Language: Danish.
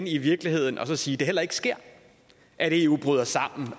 i virkeligheden og sige at det heller ikke sker at eu bryder sammen